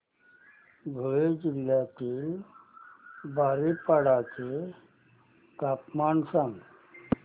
धुळे जिल्ह्यातील बारीपाडा चे तापमान सांग